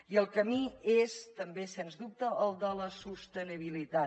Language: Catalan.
i el camí és també sens dubte el de la sostenibilitat